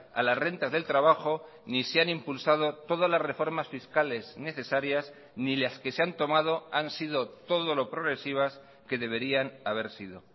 a las rentas del trabajo ni se han impulsado todas las reformas fiscales necesarias ni las que se han tomado han sido todo lo progresivas que deberían haber sido